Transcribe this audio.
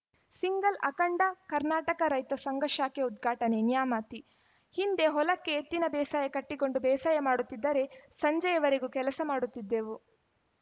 single ಅಖಂಡ ಕರ್ನಾಟಕ ರೈತ ಸಂಘ ಶಾಖೆ ಉದ್ಘಾಟನೆ ನ್ಯಾಮತಿ ಹಿಂದೆ ಹೊಲಕ್ಕೆ ಎತ್ತಿನ ಬೇಸಾಯ ಕಟ್ಟಿಕೊಂಡು ಬೇಸಾಯ ಮಾಡುತ್ತಿದ್ದರೆ ಸಂಜೆಯವರೆಗೂ ಕೆಲಸ ಮಾಡುತ್ತಿದ್ದೆವು